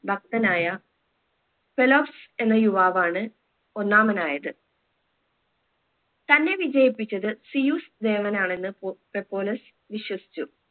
ഭക്തനായ ഫെലോപ്സ് എന്ന യുവാവ് ആണ് ഒന്നാമനായത് തന്നെ വിജയിപ്പിച്ചത് സിയൂസ് ദേവൻ ആണെന്ന് പൊ ഫെപ്പോലസ് വിശ്വസിച്ചു